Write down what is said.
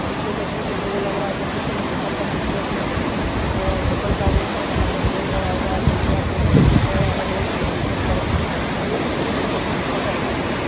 इसको देखने से तो यह लग रहा है कि यह किसी होटल का पिक्चर्स है और होटल का रूम है जहां पर बेड लगा हुआ है टी.वी. है फसिलिटी है अलग-अलग तरिके के पर यह तो पूरी तरीके से होटल का पिक्चर्स है।